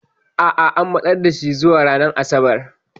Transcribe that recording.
A'a, an matsar da shi zuwa ranar Asabar.